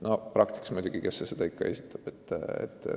No praktikas on muidugi nii, et kes see ikka seda esitab.